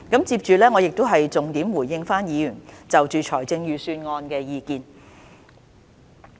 接着，我會重點回應議員就財政預算案的意見。